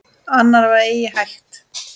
Annað var eigi hægt.